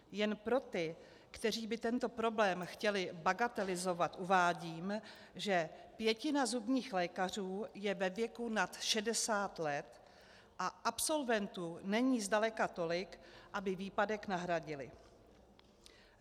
Jen pro ty, kteří by tento problém chtěli bagatelizovat, uvádím, že pětina zubních lékařů je ve věku nad 60 let a absolventů není zdaleka tolik, aby výpadek nahradili.